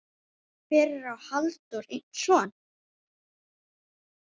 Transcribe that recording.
Fyrir á Halldór einn son.